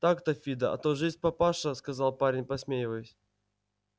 так то фидо а то жизнь папаша сказал парень посмеиваясь